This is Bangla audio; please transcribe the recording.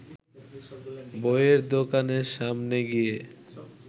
বইয়ের দোকানের সামনে গিয়ে